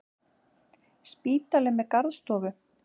Spítali með garðstofu!